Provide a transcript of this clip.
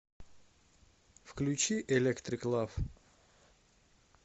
включи электрик лав